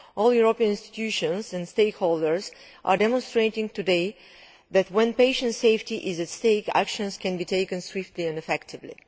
All the European institutions and stakeholders are demonstrating today that when patient safety is at stake, actions can be taken swiftly and effectively.